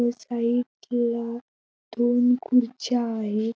व साईड ला दोन खुर्च्या आहे.